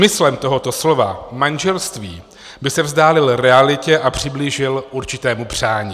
Smyslem tohoto slova manželství by se vzdálil realitě a přiblížil určitému přání.